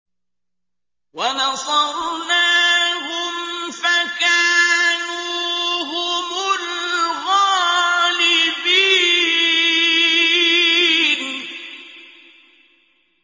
وَنَصَرْنَاهُمْ فَكَانُوا هُمُ الْغَالِبِينَ